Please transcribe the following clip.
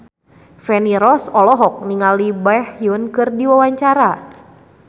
Feni Rose olohok ningali Baekhyun keur diwawancara